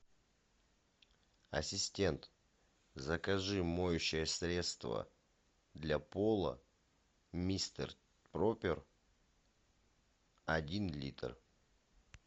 ассистент закажи моющее средство для пола мистер пропер один литр